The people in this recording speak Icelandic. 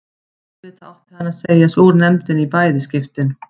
Auðvitað átti hann að segja sig úr nefndinni í bæði skiptin.